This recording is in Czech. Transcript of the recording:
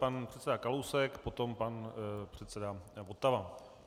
Pan předseda Kalousek, potom pan předseda Votava.